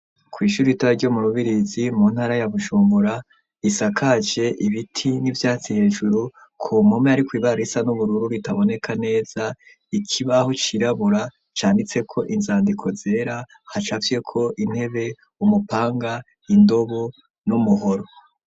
kw'ishuri ritoya ryo mu rubirizi mu ntara ya Bujumbura risakaje ibiti n'ivyatsi hejuru ku mpome hariko ibara risa n'ubururu ritaboneka neza ikibaho cirabura canditseko inzandiko zera hacafyeko intebe umupanga Indobo n'umuhoro